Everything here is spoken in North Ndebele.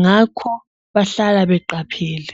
ngakho bahlala beqaphele.